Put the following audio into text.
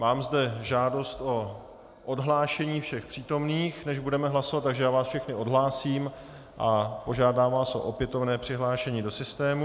Mám zde žádost o odhlášení všech přítomných, než budeme hlasovat, takže já vás všechny odhlásím a požádám vás o opětovné přihlášení do systému.